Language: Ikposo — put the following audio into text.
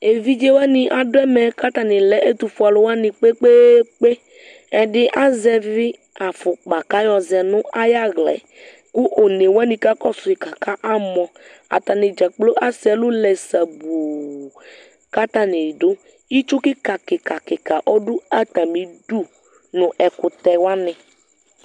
Evidze wani adʋ ɛmɛ kʋ atani lɛ ɛtʋfue alʋ wani kpekpeekpe Ɛdi azɛvi afʋkpa kʋ ayɔzɛ nʋ ayaɣla e kʋ one wani kakɔsʋ yi kakamɔ Atani dzakplo asɛ ɛlʋ lɛ sabuu kʋ atani dʋ Itsu kikakikakika ɔdʋ atami idu nʋ ɛkʋtɛ wani